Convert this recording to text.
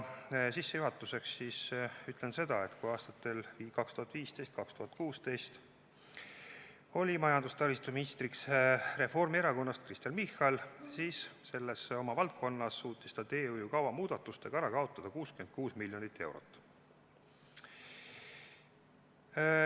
Sissejuhatuseks ütlen seda, et kui aastatel 2015–2016 oli majandus- ja taristuminister Kristen Michal Reformierakonnast, siis selles oma valdkonnas suutis ta teehoiukava muudatustega ära kaotada 66 miljonit eurot.